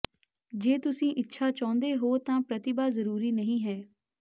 ਜੇ ਤੁਸੀਂ ਇੱਛਾ ਚਾਹੁੰਦੇ ਹੋ ਤਾਂ ਪ੍ਰਤਿਭਾ ਜ਼ਰੂਰੀ ਨਹੀਂ ਹੈ